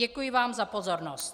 Děkuji vám za pozornost.